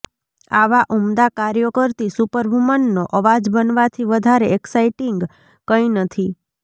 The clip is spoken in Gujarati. આવા ઉમદા કાર્યો કરતી સુપરવૂમનનો અવાજ બનવાથી વધારે એક્સાઈટિંગ કંઈ નથી